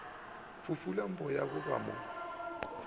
fufula boya ba ba mo